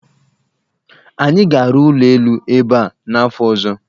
Anyị ga-arụ ụlọ elu ebe a n'afọ ọzọ.